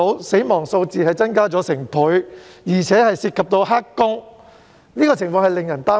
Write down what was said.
死亡數字已增加了1倍，而且不包括"黑工"，這情況實在令人擔憂。